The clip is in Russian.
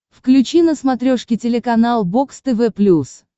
включи на смотрешке телеканал бокс тв плюс